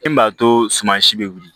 E m'a to suma si bɛ wuli